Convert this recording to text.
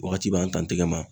Wagati b'an t'an tɛgɛ ma